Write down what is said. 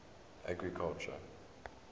agriculture